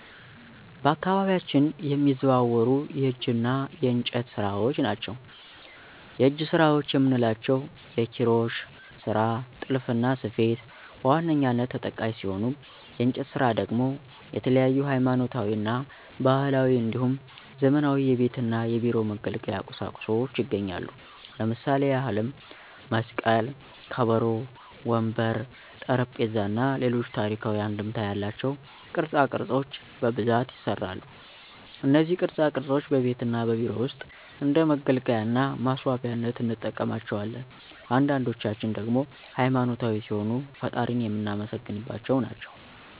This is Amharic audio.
በአካባቢያችን የሚዘወተሩ የእጅ እና የእንጨት ስራዎች ናቸው። የእጅ ስራዎች የምንላቸው የኪሮሽ ስራ፣ ጥልፍና ስፌት በዋነኛነት ተጠቃሽ ሲሆኑ የእንጨት ስራ ደግሞ የተለያዩ ሀይማኖታዊ እና ባህላዊ እንዲሁም ዘመናዊ የቤት እና የቢሮ መገልገያ ቁሳቁሶች ይገኛሉ። ለምሳሌ ያህልም መስቀል፣ ከበሮ፣ ወንበር፣ ጠረጴዛ እና ሌሎች ታሪካዊ አንድምታ ያላቸው ቅርፃ ቅርፆች በብዛት ይሰራሉ። እነዚህ ቅርፃ ቅርፆች በቤት እና በቢሮ ውስጥ እንደ መገልገያ እና ማስዋቢያነት እንጠቀምባቸዋለን። አንዳንዶችን ደግሞ ሃይማኖታዊ ሲሆኑ ፈጣሪን የምናመሰግንባቸው ናቸው።